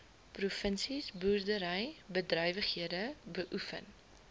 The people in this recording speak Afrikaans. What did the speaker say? provinsies boerderybedrywighede beoefen